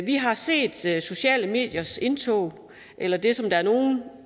vi har set set sociale mediers indtog eller det som der er nogle